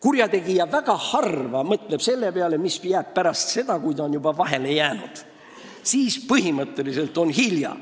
Ta mõtleb väga harva selle peale, mis saab pärast seda, kui ta on vahele jäänud, sest siis on põhimõtteliselt juba hilja.